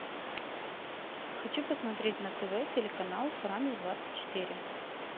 хочу посмотреть на тв телеканал франц двадцать четыре